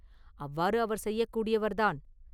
அவ்வாறு அவர் செய்யக்கூடியவர் தான்.